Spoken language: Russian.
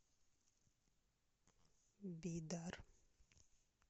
бидар